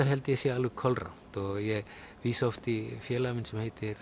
held ég að sé alveg kolrangt og ég vísa oft í félaga minn sem heitir